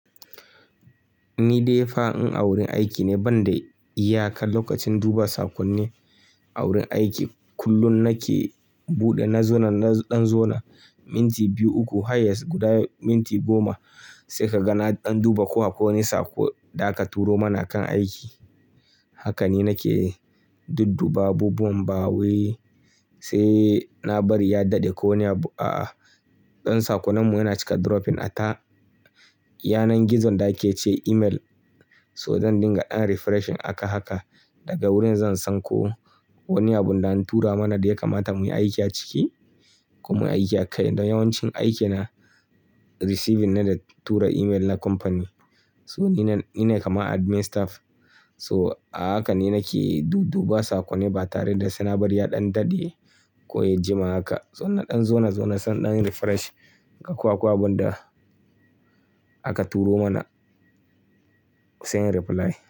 Ni dai fa in a wurin aiki ne ban da iyaka lokacin duba sakonni a wurin aiki kullum nake buɗe na zona na ɗan zona minti biyu uku highest guda minti goma sai ka ga na ɗan duba ko akwai wani sako da aka turo mana a kan aiki. Haka ni nake dudduba abubuwan ba wai sai na bari ya daɗe ko wane abu aa ɗan sakonnanmu yana cika dropping a ta yanar gizon da ake ce email so zan dinga ɗan refreshing aka haka daga wurin zan san ko wani abunda an tura mana da ya kamata mu yi aiki a ciki ko mu yi aiki a kai. Don yawancin aikina receiving ne da tura email na kamfani. So ni ne, ni ne kama admin staff so a haka ni nake dudduba sakonni ba tare da sai na bari ya ɗan daɗe ko ya jima haka. So na ɗan zona zona so na refresh ga ko akwai abun da aka turo mana sai in reply.